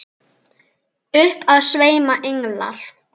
Upp af sveima englar.